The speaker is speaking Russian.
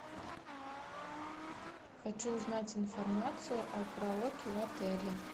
хочу узнать информацию о караоке в отеле